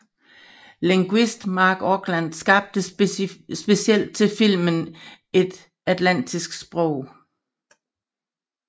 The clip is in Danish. Lingvist Marc Okrand skabte specielt til filmen et atlantisk sprog